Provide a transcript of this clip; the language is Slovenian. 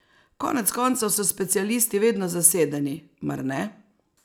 Konec koncev so specialisti vedno zasedeni, mar ne?